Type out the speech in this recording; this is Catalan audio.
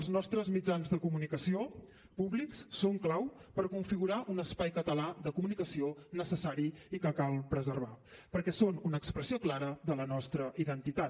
els nostres mitjans de comunicació públics són clau per configurar un espai català de comunicació necessari i que cal preservar perquè són una expressió clara de la nostra identitat